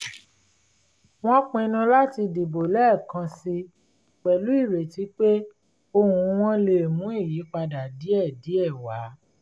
wọ́n pinnu láti dìbò lẹ́ẹ̀kansi pẹ̀lú ìrètí pé ohùn wọn lè mú ìyípadà díẹ̀ díẹ̀ wá